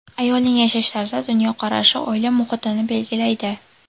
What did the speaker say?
Ayolning yashash tarzi, dunyoqarashi oila muhitini belgilaydi.